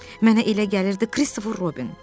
Mənə elə gəlirdi Kristofer Robin.